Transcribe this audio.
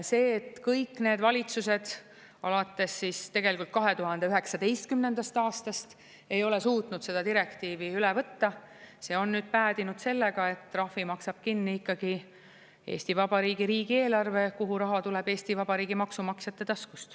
See, et kõik need valitsused alates 2019. aastast ei ole suutnud seda direktiivi üle võtta, on nüüd päädinud sellega, et trahvi maksab kinni ikkagi Eesti Vabariigi riigieelarve, kuhu raha tuleb Eesti Vabariigi maksumaksjate taskust.